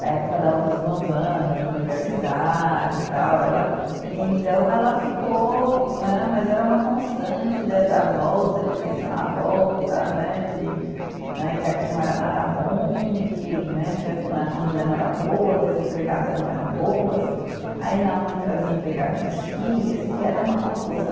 Da época da, dos bons anos de universidade tal, ela, então ela ficou né, mas era uma constante dé da volta, de pensar na volta né, de, né que aqui não era nada bom, que né que a comida não era boa, que as empregadas não eram boas, aí minha mãe trazia empregado do Chile, eu sei que era uma confusão,